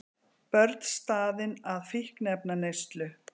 Börn staðin að fíkniefnaneyslu